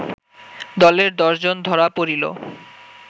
দলের দশজন ধরা পড়িল